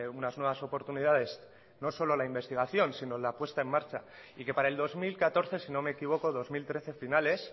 unas nuevas oportunidades no solo la investigación sino la puesta en marcha y que para el dos mil catorce si no me equivoco dos mil trece finales